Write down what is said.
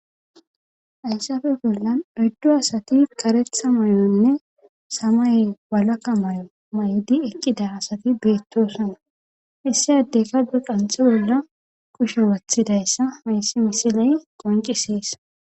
Hayssafe bollan oddu asati karetha may7onne samay walaka may7o may7di eqqida asati beettosana issi addekade qanxi bolla kushe wathidayssa mayssi misiley qoncisies.